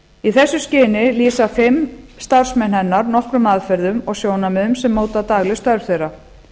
í þessu skyni lýsa fimm starfsmenn hennar nokkrum aðferðum og sjónarmiðum sem móta dagleg störf þeirra